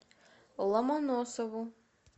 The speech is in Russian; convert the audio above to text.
ломоносову